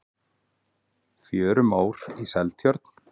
fjörumór í seltjörn